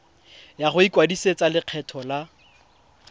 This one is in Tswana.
ya go ikwadisetsa lekgetho la